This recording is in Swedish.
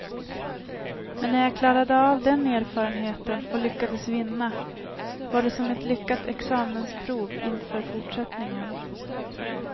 Men när jag klarade av den erfarenheten, och lyckades vinna, var det som ett lyckat examensprov inför fortsättningen.